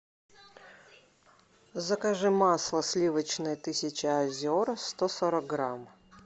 закажи масло сливочное тысяча озер сто сорок грамм